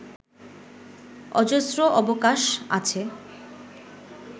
অজস্র অবকাশ আছে